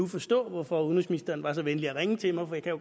forstå hvorfor udenrigsministeren var så venlig at ringe til mig for jeg